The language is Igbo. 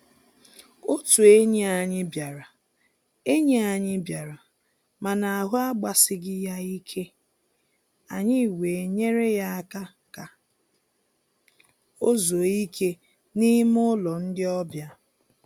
Otụ enyi anyị bịara, enyi anyị bịara, mana ahụ agbasighị ya ike, anyị wee nyere ya aka ka o zuo ike n'ime ụlọ ndị ọbịa.